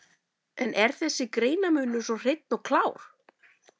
En er þessi greinarmunur svo hreinn og klár?